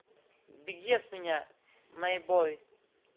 беги от меня мэйбой